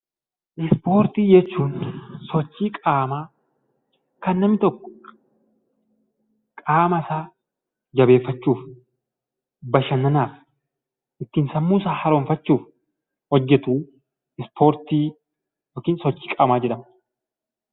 Ispoortii jechuun sochii qaamaa kan namni tokko qaama isaa jabeeffachuuf, bashannanaaf, ittiin sammuu isaa haaromfachuuf hojjetu ispoortii (sochii qaamaa) jedhama.